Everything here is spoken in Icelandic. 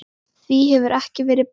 Því hefur ekki verið breytt.